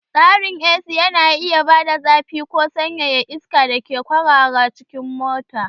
Tsarin AC yana iya bada zafi ko sanyaya iska da ke kwarara cikin mota.